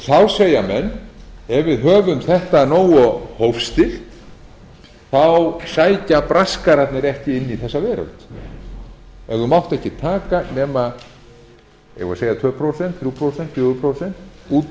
þá segja menn ef við höfum þetta nógu hófstillt sækja braskararnir ekki inn í þessa veröld ef þú mátt ekki taka nema eigum við að segja tvö prósent þrjú prósent fjögur prósent út